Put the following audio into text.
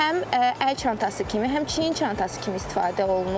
Həm əl çantası kimi, həm çiyin çantası kimi istifadə olunur.